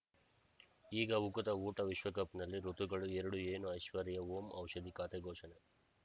ಈಗ ಉಕುತ ಊಟ ವಿಶ್ವಕಪ್‌ನಲ್ಲಿ ಋತುಗಳು ಎರಡು ಏನು ಐಶ್ವರ್ಯಾ ಓಂ ಔಷಧಿ ಖಾತೆ ಘೋಷಣೆ